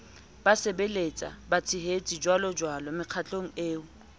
basebelletswa batshehetsi jjwalojwalo mekgatlong eo